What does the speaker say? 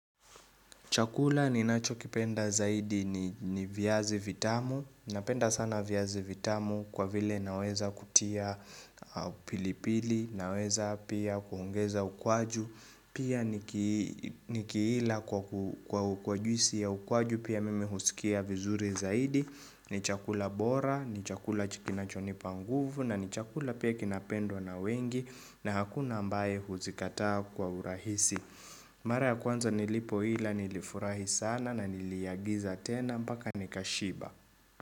Chakula ni nacho kipenda zaidi ni viazi vitamu. Napenda sana viazi vitamu kwa vile naweza kutia pilipili. Naweza pia kuongeza ukwaju. Pia ni kiila kwa juisi ya ukwaju pia mimi husikia vizuri zaidi. Ni chakula bora, ni chakula kinachonipa nguvu. Na ni chakula pia kinapendwa na wengi. Na hakuna ambaye huzikataa kwa urahisi. Mara ya kwanza nilipoila nilifurahi sana na niliagiza tena mpaka nikashiba.